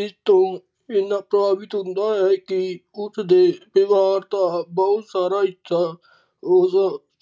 ਇਸ ਤੋਂ ਇੰਨਾ ਸਾਬਿਤ ਹੁੰਦਾ ਹੈ ਕਿ ਉਸ ਤੋਂ ਉਸ ਦੇ ਦਾ ਬਹੁਤ ਸਾਰਾ ਹਿੱਸਾ